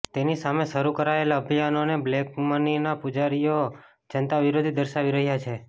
તેની સામે શરૂ કરાયેલા અભિયાનને બ્લેકમનીના પૂજારીઓ જનતાવિરોધી દર્શાવી રહ્યા છે